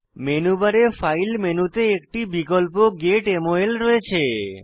menu বারে file মেনুতে একটি বিকল্প গেট মল রয়েছে